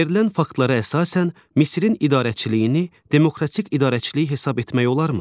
Verilən faktlara əsasən, Misirin idarəçiliyini demokratik idarəçilik hesab etmək olarmı?